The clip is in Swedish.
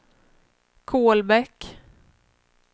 Kolbäck